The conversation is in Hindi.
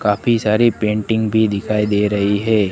काफी सारी पेंटिंग भी दिखाई दे रही है।